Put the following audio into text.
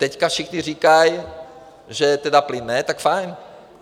Teď všichni říkají, že tedy plyn ne, tak fajn.